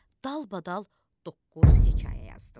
Dalbadal doqquz hekayə yazdım.